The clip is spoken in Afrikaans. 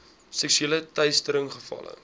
seksuele teistering gevalle